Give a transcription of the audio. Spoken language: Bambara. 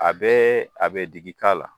A bɛ a bɛ digi k'a la.